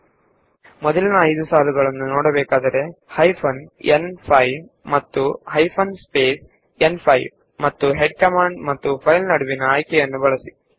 ನಮಗೆ ಮೊದಲ 5 ಸಾಲುಗಳನ್ನು ನೋಡಬೇಕಾದಲ್ಲಿ ಹೆಡ್ ಕಮಾಂಡ್ ಮತ್ತು ಫೈಲ್ ನ ನಡುವೆ ಹೈಫೆನ್ ನ್5 ಆಯ್ಕೆಯನ್ನು ಬಳಸಿ